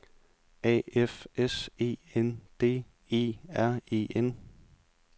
A F S E N D E R E N